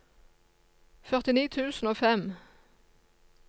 førtini tusen og fem